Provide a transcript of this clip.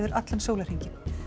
allan sólarhringinn